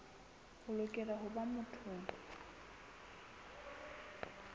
o lokela ho ba motho